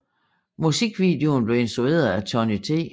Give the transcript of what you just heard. Musikvideoen blev instrueret af Tony T